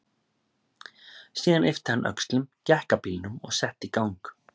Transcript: Síðan yppti hann öxlum, gekk að bílnum og setti í gang.